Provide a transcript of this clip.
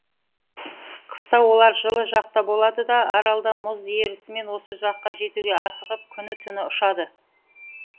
қыста олар жылы жақта болады да аралда мұз ерісімен осы жаққа жетуге асығып күні түні ұшады